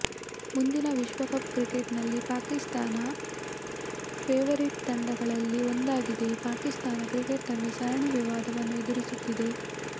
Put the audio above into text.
ಮುಂದಿನ ವಿಶ್ವಕಪ್ ಕ್ರಿಕೆಟ್ನಲ್ಲಿ ಪಾಕಿಸ್ತಾನ ಫೆವರೀಟ್ ತಂಡಗಳಲ್ಲಿ ಒಂದಾಗಿದೆ ಪಾಕಿಸ್ತಾನ ಕ್ರಿಕೆಟ್ ತಂಡ ಸರಣಿ ವಿವಾದವನ್ನು ಎದುರಿಸುತ್ತಿದೆ